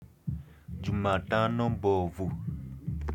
Jumatano mbovu.